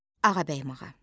Ağabəyim ağa.